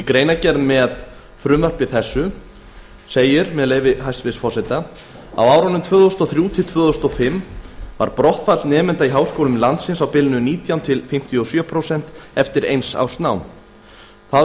í greinargerð með frumvarpi þessu segir með leyfi hæstvirts forseta á árunum tvö þúsund og þrjú til tvö þúsund og fimm var brottfall nemenda í háskólum landsins á bilinu nítján til fimmtíu og sjö prósent eftir eins árs nám það